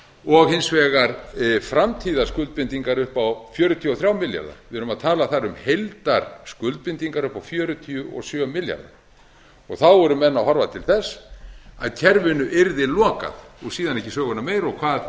og hins vegar framtíðarskuldbindingar upp á fjörutíu og þrír milljarðar við erum að tala þar um heildarskuldbindingar upp á fjörutíu og sjö milljarða þá eru menn að horfa til þess að kerfinu yrði lokað og síðan ekki söguna meir og hvað